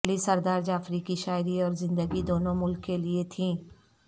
علی سردار جعفری کی شاعری اور زندگی دونوں ملک کیلئے تھیں